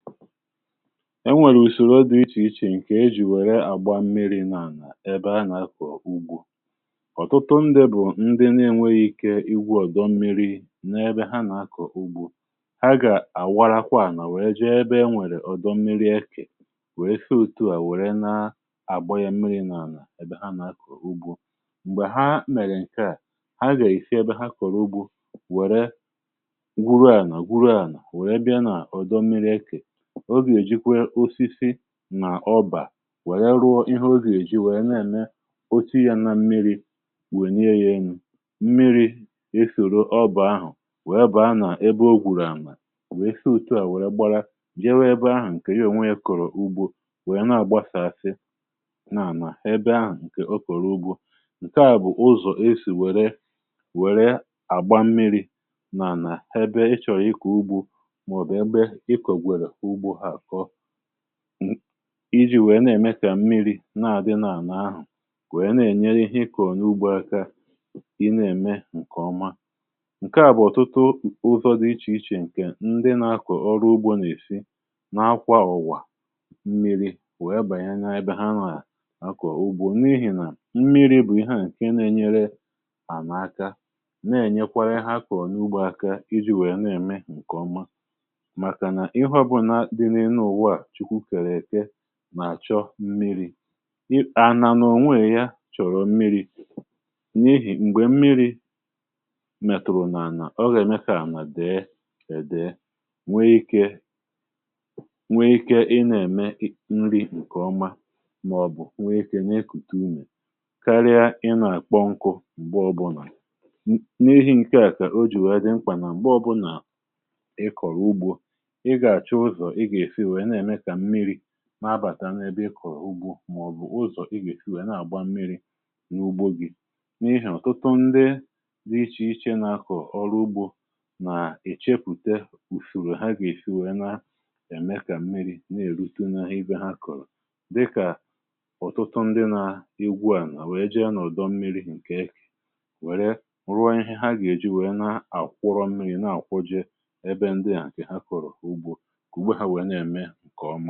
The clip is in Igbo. enwèrè ùsòrò dị ichè ichè ǹkè ejì wère àgba mmiri̇ nà-ànà ebe anà sọ̀ ugbȯ ọ̀tụtụ ndị bụ̀ ndị na-enweghì ike igwu̇ ọ̀dọ mmiri n’ebe ha nà-akọ̀ ugbȯ ha gà-àwarakwa à nà wère ji ebe enwèrè ọ̀dọ mmiri ekè wé fee òtù a wère na-àgbaghị mmiri̇ nà-ànà ebe ha nà-akọ̀ ugbȯ m̀gbè ha mèrè ǹke à um ha gà-èsi ebe ha kọ̀rọ̀ ugbȯ wère gwuru ànọ̀ gwuru ànọ̀ wèe bịa nà ọ̀dọ mmiri ekè nà ọbà wèe ruọ ihe o gà-èji wèe na-ème otu ya na mmiri wèe n’eye ya enu̇ mmiri̇ esì ruo ọbà ahụ̀ wèe bàa nà ebe o gwùrù àmà wèe fụ a wèe gbara jewe ebe ahụ̀ ǹkè ya nwee ya kọ̀rọ̀ ugbȯ wèe na-àgbasasị nà nà ebe ahụ̀ ǹkè o kọ̀rọ̀ ugbȯ ǹke à bụ̀ ụzọ̀ esì wère wère àgba mmiri̇ nà nà ebe ịchọ̇ ịkà ugbȯ ǹ iji̇ wèe na-ème kà mmiri̇ na-àdị na-àna ahụ̀ wèe na-ènyere ihe ịkọ̀ n’ugbo aka ị na-ème ǹkèọma ǹke à bụ̀ ọ̀tụtụ ụzọ̇ dị ichè ichè ǹkè ndị nȧ-akọ̀ ọrụ ugbȯ nà-èsi na-akwa ụ̀wà mmiri̇ wèe bànyere ị na-ebe ha nà-akọ̀ ugbȯ n’ihì nà mmiri̇ bụ̀ ihe à ǹke na-enyere ànà aka na-ènyekwara ha kọ̀rọ̀ n’ugbȯ aka iji̇ wèe na-ème ǹkèọma n’àchọ mmiri̇ i ananò ò nweya chọ̀rọ̀ mmiri̇ n’ihì m̀gbè mmiri̇ mètùrù n’ana ọ gà-ème kà ànà dèe èdèe nwe ikė nwe ikė ị na-ème nri ǹkèọma màọ̀bụ̀ nwe ikė na-ekùta unè karịa ị nà-àkpọ nkụ̇ m̀gbe ọbụ̇nà n’ihi nke à kà o jì wèe dị mkpà nà m̀gbe ọbụ̇nà ị kọ̀rọ̀ ugbȯ n’abàta n’ebe ị kọ̀rọ̀ ugbȯ màọ̀bụ̀ ụzọ̀ ị gà-èsi nwee nà-àgba mmiri n’ugbo gị̇ n’ihè ọ̀tụtụ ndị di ichèichè nà-akọ̀ ọrụ ugbȯ nà-èchepùte ùsùrù ha gà-èsi nwee na ème kà mmiri na-èrute n’ibe ha kọ̀rọ̀ dịkà ọ̀tụtụ ndị nà igwu à nà nwee ji anọ̀dọ mmiri ǹkè e wère rụọ ihe ha gà-eji nwee na-àkwọrọ mmiri na-àkwọje ebe ndị à kì ha kọ̀rọ̀ ugbȯ ǹkè ọma.